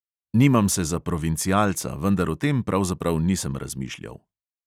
Nimam se za provincialca, vendar o tem pravzaprav nisem razmišljal.